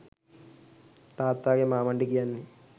තාත්තාගේ මාමණ්ඩි කියන්නේ